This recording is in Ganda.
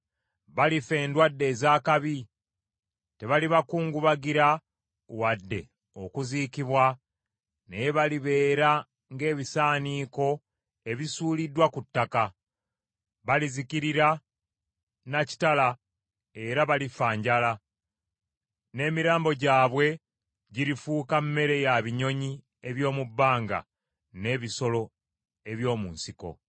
Balifa endwadde ez’akabi. Tebalibakungubagira wadde okuziikibwa naye balibeera ng’ebisaaniko ebisuuliddwa ku ttaka. Balizikirira na kitala era balifa njala; n’emirambo gyabwe girifuuka mmere ya binyonyi eby’omu bbanga n’ebisolo eby’omu nsiko.”